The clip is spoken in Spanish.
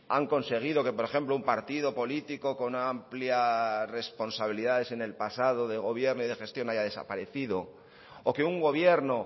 han conseguido que por ejemplo un partido político con una amplia responsabilidades en el pasado de gobierno y de gestión haya desaparecido o que un gobierno